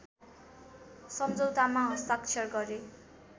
समझौतामा हस्ताक्षर गरे